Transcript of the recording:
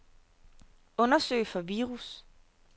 Undersøg for virus.